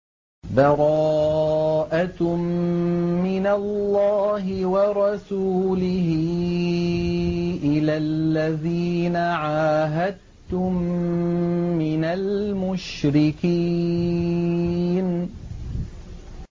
بَرَاءَةٌ مِّنَ اللَّهِ وَرَسُولِهِ إِلَى الَّذِينَ عَاهَدتُّم مِّنَ الْمُشْرِكِينَ